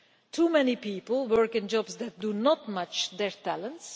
Too many people work in jobs that do not match their talents.